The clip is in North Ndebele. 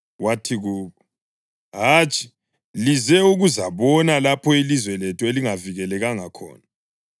Wathi kubo, “Hatshi! Lize ukuzabona lapho ilizwe lethu elingavikelekanga khona.”